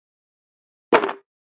Eruð þið mikið fyrir áfengi?